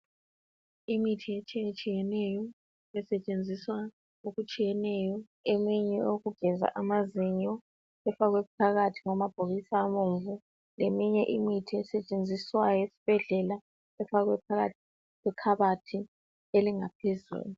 Imithi etshiye tshiyeneyo esetshenziswa okutshiyeneyo eminye eyokugeza amazinyo ifakwe phakathi kwamabhokisi abomvu leminye imithi esetshenziswa esibhedlela ifakwe phakathi kwekhabothi eliphezulu.